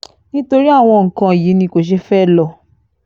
nítorí àwọn nǹkan yìí ni kò ṣe fẹ́ẹ́ lò